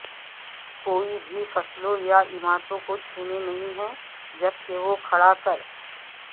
کوئی بھی فصلوں یا عمارتوں کو چھونے نہیں ہے جبکہ وہ کھڑا کر